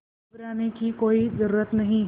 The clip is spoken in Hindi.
घबराने की कोई ज़रूरत नहीं